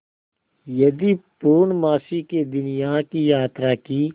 यदि पूर्णमासी के दिन यहाँ की यात्रा की